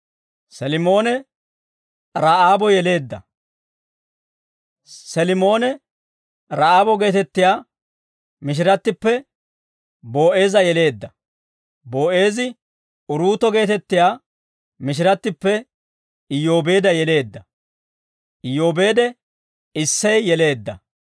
Selimoone, Ra'aabo geetettiyaa mishirattippe Boo'eeza yeleedda; Boo'eezi, Uruuto geetettiyaa mishirattippe Iyyoobeedda yeleedda; Iyyoobeede, Issey yeleedda.